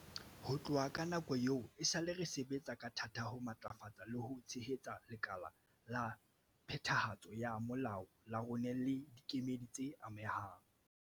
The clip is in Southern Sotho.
Ho tloha ka nako eo, esale re sebetsa ka thata ho matlafatsa le ho tshehetsa lekala la phethahatso ya molao la rona le dikemedi tse amehang.